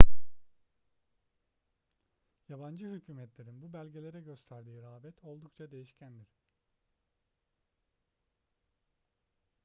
yabancı hükümetlerin bu belgelere gösterdiği rağbet oldukça değişkendir